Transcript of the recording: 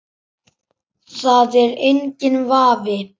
Það er enginn vafi.